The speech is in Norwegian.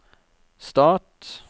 stat